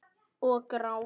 Og gráta.